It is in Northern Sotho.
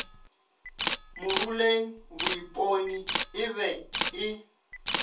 moruleng moipone e be e